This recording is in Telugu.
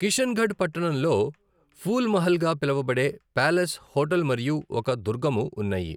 కిషన్గఢ్ పట్టణంలో ఫూల్ మహల్ గా పిలువబడే ప్యాలెస్ హోటల్ మరియు ఒక దుర్గము ఉన్నాయి.